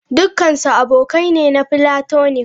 Dukansu abokai ne na platonic.